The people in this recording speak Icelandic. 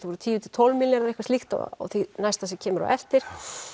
voru tíu til tólf milljarðar eitthvað slíkt á því næsta sem kemur á eftir